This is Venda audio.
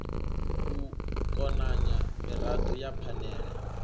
u konanya mirado ya phanele